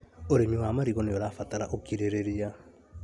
ũrĩmi wa marigũ nĩũrabatara ũkirĩrĩria